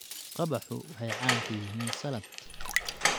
Qabaxu waxay caan ku yihiin salad.